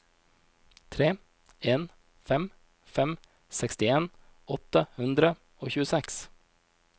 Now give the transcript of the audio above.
tre en fem fem sekstien åtte hundre og tjueseks